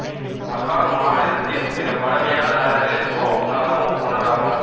பகாங் மாநிலத்தில் மிகப் பழமையான நகரங்களில் ரவுப் நகரமும் ஒன்றாகும்